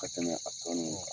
Ka tɛmɛ a tɔ nu